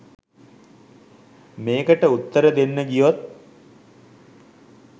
මේකට උත්තර දෙන්න ගියොත්